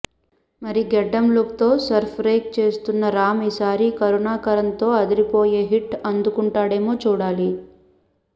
మరి గడ్డెం లుక్ తో సర్ ప్రైక్ చేస్తున్న రామ్ ఈసారి కరుణాకరణ్ తో అదిరిపోయే హిట్ అందుకుంటాడేమో చూడాలి